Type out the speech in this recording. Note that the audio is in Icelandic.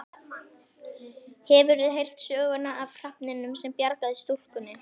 Hefurðu heyrt söguna af hrafninum sem bjargaði stúlkunni?